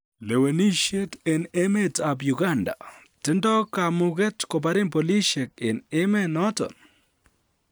Lewenisiet en emet ab Uganda: 'Tindoi kamuket koparin polisiek' en emet noton